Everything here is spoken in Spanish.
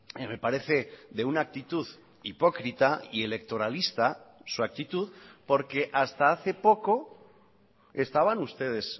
y me parece de una actitud hipócrita y electoralista su actitud porque hasta hace poco estaban ustedes